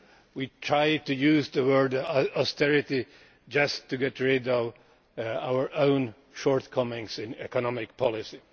We tried to use the word austerity just to get rid of our own shortcomings in economic policy.